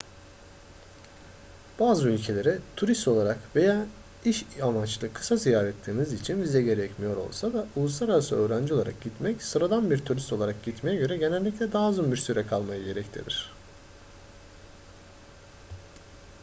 bazı ülkelere turist olarak veya iş amaçlı kısa ziyaretleriniz için vize gerekmiyor olsa da uluslararası öğrenci olarak gitmek sıradan bir turist olarak gitmeye göre genellikle daha uzun bir süre kalmayı gerektirir